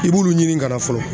I b'ulu ɲini ka na fɔlɔ.